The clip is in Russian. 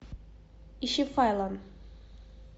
ищи файлан